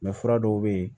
fura dɔw bɛ yen